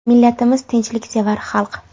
Millatimiz tinchliksevar xalq.